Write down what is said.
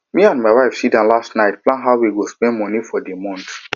me and my wife sit down last night plan how we go spend money for the month